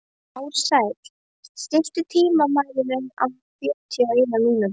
Ársæll, stilltu tímamælinn á fjörutíu og eina mínútur.